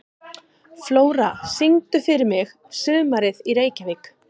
Flóra, syngdu fyrir mig „Sumarið í Reykjavík“.